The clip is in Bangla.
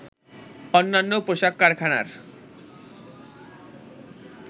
অন্যান্য পোশাক কারখানার